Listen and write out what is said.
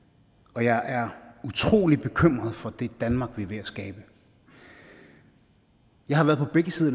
og jeg er utrolig bekymret for det danmark vi er ved at skabe jeg har været på begge sider